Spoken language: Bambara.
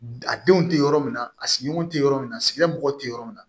A denw tɛ yɔrɔ min na a sigiɲɔgɔnw tɛ yɔrɔ min na a sigida mɔgɔw tɛ yɔrɔ min na